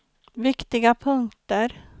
viktiga punkter